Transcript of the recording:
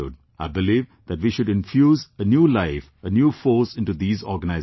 I believe that we should infuse a new life, a new force into these organizations